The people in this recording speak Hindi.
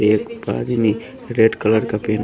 एक आदमी रेड कलर का पह--